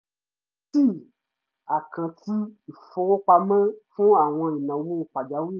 um àkáǹtì ìfowópamọ́ fún àwọn ìnáwó pàjáwìrì